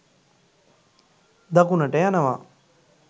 දකුණට යනවා